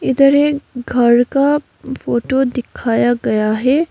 इधर एक घर का फोटो दिखाया गया है।